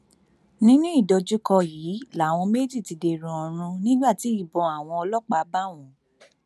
nínú ìdojúkọ yìí làwọn méjì ti dèrò ọrun nígbà tí ìbọn àwọn ọlọpàá bá wọn